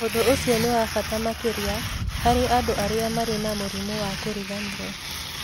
Ũndũ ũcio nĩ wa bata makĩria harĩ andũ arĩa marĩ na mũrimũ wa kĩriganĩro.